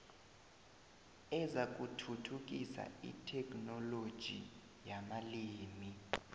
ezakuthuthukisa itheknoloji yamalimi